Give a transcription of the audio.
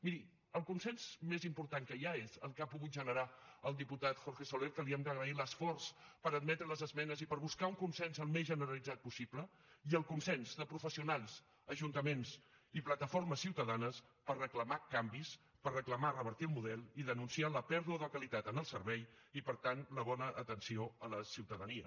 miri el consens més important que hi ha és el que ha pogut generar el diputat jorge soler que li hem d’agrair l’esforç per admetre les esmenes i per buscar un consens al més generalitzat possible i el consens de professionals ajuntaments i plataformes ciutadanes per reclamar canvis per reclamar revertir el model i denunciar la pèrdua de qualitat en el servei i per tant la bona atenció a la ciutadania